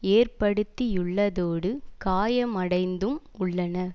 ஏற்படுத்தியுள்ளதோடு காயமடைந்தும் உள்ளனர்